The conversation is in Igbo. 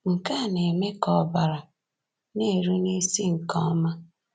Nke a na-eme ka ọbara na-eru n’isi nke ọma.